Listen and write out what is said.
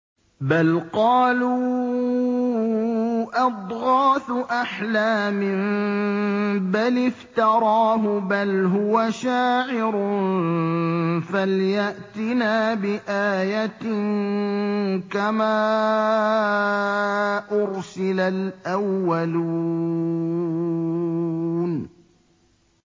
بَلْ قَالُوا أَضْغَاثُ أَحْلَامٍ بَلِ افْتَرَاهُ بَلْ هُوَ شَاعِرٌ فَلْيَأْتِنَا بِآيَةٍ كَمَا أُرْسِلَ الْأَوَّلُونَ